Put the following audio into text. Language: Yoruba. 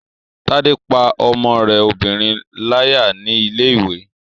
Tádé pá ọmọ rẹ obìnrin láyà ní ilé-ìwé